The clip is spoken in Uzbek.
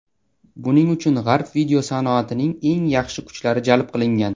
Buning uchun G‘arb video sanoatining eng yaxshi kuchlari jalb qilingan.